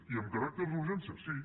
i amb caràcter d’urgència sí